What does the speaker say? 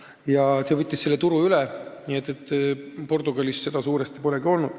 See aine võttis selle turu üle, Portugalis seda suuresti polegi olnud.